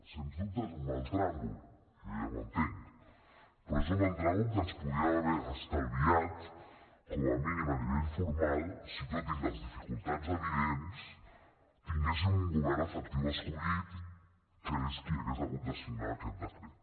sens dubte és un mal tràngol jo ja ho entenc però és un mal tràngol que ens podríem haver estalviat com a mínim a nivell formal si tot i les dificultats evidents tinguéssim un govern efectiu escollit que és qui hagués hagut de signar aquest decret